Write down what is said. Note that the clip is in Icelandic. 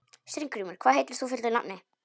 Steingrímur, hvað heitir þú fullu nafni?